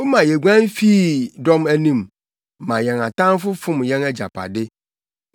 Woma yeguan fii dɔm anim, ma yɛn atamfo fom yɛn agyapade.